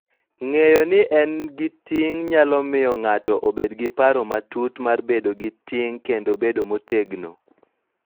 Ng�eyo ni en gi ting� nyalo miyo ng�ato obed gi paro matut mar bedo gi ting� kendo bedo motegno,